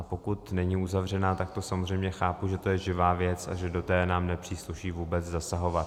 A pokud není uzavřena, tak to samozřejmě chápu, že to je živá věc a že do té nám nepřísluší vůbec zasahovat.